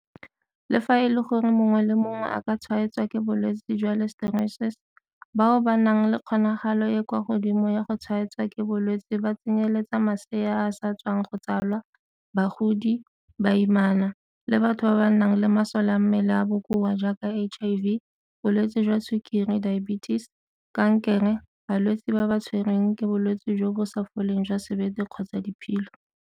Le fa e le gore mongwe le mongwe a ka tshwaetswa ke bolwetse jwa Listeriosis, bao ba nang le kgonagalo e e kwa godimo ya go tshwaetswa ke bolwetse ba tsenyeletsa masea a a sa tswang go tsalwa, bagodi, baimana, le batho ba ba nang le masole a mmele a a bokoa jaaka HIV, bolwetse jwa sukiri diabetes, kankere, balwetse ba ba tshwerweng ke bolwetse jo bo sa foleng jwa sebete kgotsa diphilo.